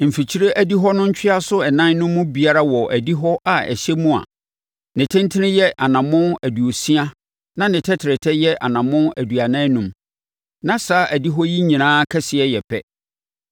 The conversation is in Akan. Mfikyire adihɔ no ntweaso ɛnan no mu biara wɔ adihɔ a ɛhyɛ mu a ne tentene yɛ anammɔn aduosia na ne tɛtrɛtɛ yɛ anammɔn aduanan enum; na saa adihɔ yi nyinaa kɛseɛ yɛ pɛ.